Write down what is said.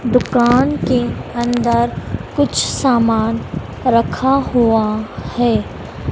दुकान के अंदर कुछ सामान रखा हुआ है।